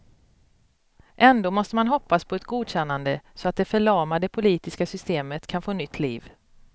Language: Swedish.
Ändå måste man hoppas på ett godkännande, så att det förlamade politiska systemet kan få nytt liv.